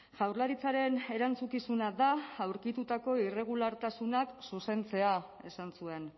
jaurlaritzaren erantzukizuna da aurkitutako irregulartasunak zuzentzea esan zuen